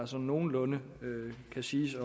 som nogenlunde kan siges